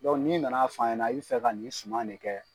n'i na na fɔ an ɲana i bɛ fɛ ka nin suman de kɛ